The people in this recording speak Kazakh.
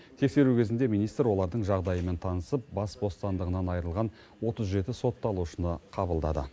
тексеру кезінде министр олардың жағдайымен танысып бас бостандығынан айырылған отыз жеті сотталушыны қабылдады